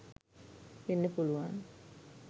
වෙන්ඩ පුළුවන්.